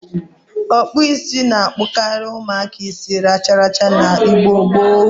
Okpu isi na-akpokari umuaka isi racharacha na Igbo gboo.